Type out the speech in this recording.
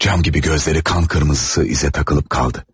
Cam kimi gözləri qan kırmızısı izə takılıb qaldı.